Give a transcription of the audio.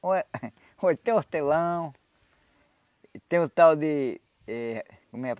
Ué uh tem hortelão, tem o tal de eh... como é?